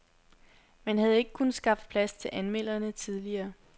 Man havde ikke kunnet skaffe plads til anmelderne tidligere.